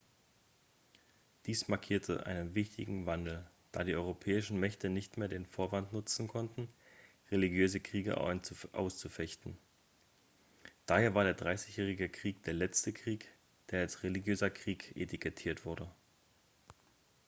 dies markierte einen wichtigen wandel da die europäischen mächte nicht mehr den vorwand nutzen konnten religiöse kriege auszufechten daher war der dreißigjährige krieg der letzte krieg der als religiöser krieg etikettiert wurde